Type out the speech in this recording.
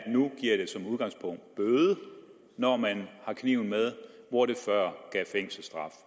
nu giver det som udgangspunkt bøde når man har kniv med hvor det før gav fængselsstraf